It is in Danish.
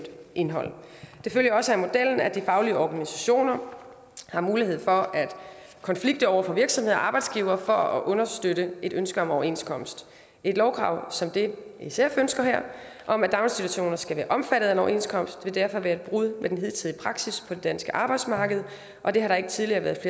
indhold det følger også af modellen at de faglige organisationer har mulighed for at konflikte over for virksomhed og arbejdsgiver for at understøtte et ønske om en overenskomst et lovkrav som det sf ønsker her om at daginstitutioner skal være omfattet af en overenskomst vil derfor være et brud med den hidtidige praksis på det danske arbejdsmarked og det har der ikke tidligere været